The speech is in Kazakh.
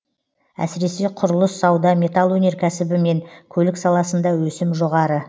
әсіресе құрылыс сауда металл өнеркәсібі мен көлік саласында өсім жоғары